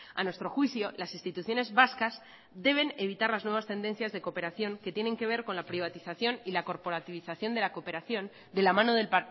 a nuestro juicio las instituciones vascas deben evitar las nuevas tendencias de cooperación que tienen que ver con la privatización y la corporativización de la cooperación de la mano del